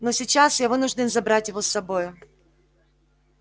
но сейчас я вынужден забрать его с собою